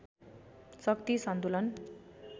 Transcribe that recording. शक्ति सन्तुलन